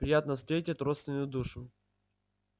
приятно встретить родственную душу